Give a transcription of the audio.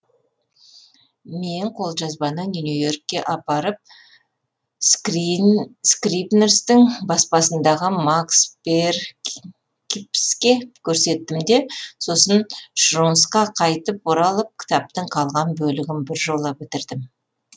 мен қолжазбаны нью и оркке апарып скрибнерстің баспасындағы макс перкипске көрсеттім де сосын шрунсқа қайтып оралып кітаптың қалған бөлігін біржола бітірдім